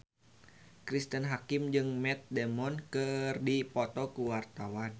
Cristine Hakim jeung Matt Damon keur dipoto ku wartawan